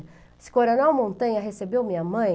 Esse Coronel Montanha recebeu minha mãe...